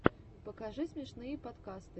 покажи смешные подкасты